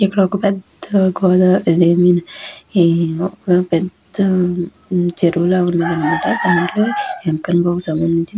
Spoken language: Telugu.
ఇక్కడ ఒక పెద్ద గోదావరి అనేది ఉంది పెద్ద చెరువు లాగా ఉందంట. దానిలోని వెంకన్న స్వామి --